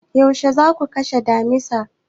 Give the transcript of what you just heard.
Yaushe za ku kashe damisar?